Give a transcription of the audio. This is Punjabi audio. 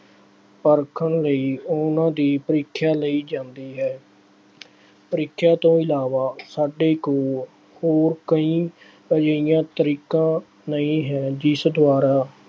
ਪਰਖਣ ਲਈ ਉਹਨਾ ਦੀ ਪ੍ਰੀਖਿਆ ਲਈ ਜਾਂਦੀ ਹੈ। ਪ੍ਰੀਖਿਆ ਤੋਂ ਇਲਾਵਾ ਸਾਡੇ ਕੋਲ ਹੋਰ ਕਈ ਅਜਿਹੀਆਂ ਤਰੀਕਾ ਨਹੀਂ ਹੈ ਜਿਸ ਦੁਆਰਾ